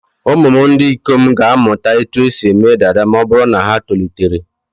Ụmụ m ndị ikom ga-amụta otú e si eme dada ma ọ bụrụ na ha tolitere.